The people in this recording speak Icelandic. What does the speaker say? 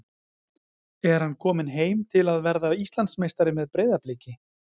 Er hann kominn heim til að verða Íslandsmeistari með Breiðabliki?